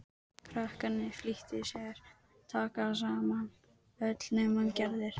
Krakkarnir flýttu sér að taka saman, öll nema Gerður.